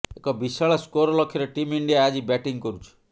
ଏକ ବିଶାଳ ସ୍କୋର ଲକ୍ଷ୍ୟରେ ଟିମ୍ ଇଣ୍ଡିଆ ଆଜି ବ୍ୟାଟିଂ କରୁଛି